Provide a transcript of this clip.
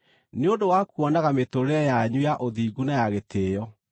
nĩ ũndũ wa kuonaga mĩtũũrĩre yanyu ya ũthingu na ya gĩtĩĩo.